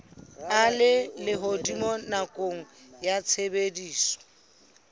a lehodimo nakong ya tshebediso